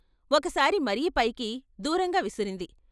ఒకసారి మరీ పైకి దూరంగా విసిరింది.